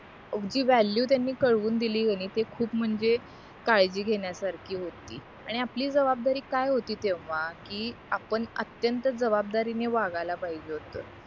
व्यालीव्ह त्यांनी कळवून दिली ते खूप म्हणजे काळजी घेण्यासारखी होती आनि आपली जवाबदारी काय होती तेव्हा कि आपण अत्यंत जवाबदारीने वागायला पाहिजे होत